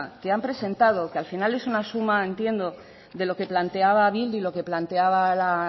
que han presentado que al final es una suma entiendo de lo que planteaba bildu y lo que planteaba la